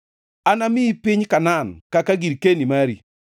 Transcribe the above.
“Anamiyi piny Kanaan kaka girkeni mari.”